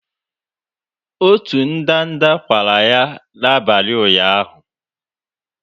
Otu ndanda kwara ya n'abalị ụnyaahụ.